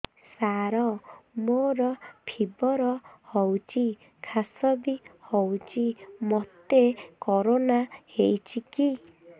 ସାର ମୋର ଫିବର ହଉଚି ଖାସ ବି ହଉଚି ମୋତେ କରୋନା ହେଇଚି କି